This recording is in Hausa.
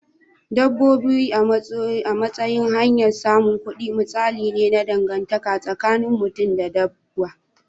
Dabbobi a matsayin hanyar samun kudi misali ne na dangantaka tsakinin mutum da dabbobi.